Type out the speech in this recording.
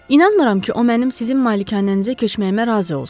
İnanmıram ki, o mənim sizin malikanənizə köçməyimə razı olsun.